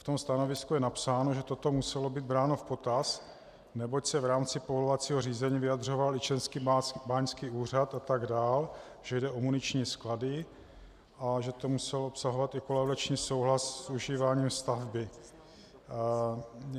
V tom stanovisku je napsáno, že toto muselo být bráno v potaz, neboť se v rámci povolovacího řízení vyjadřoval i Český báňský úřad atd., že jde o muniční sklady a že to musel obsahovat i kolaudační souhlas s užíváním stavby.